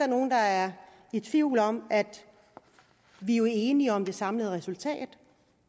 nogen der er i tvivl om at vi er enige om det samlede resultat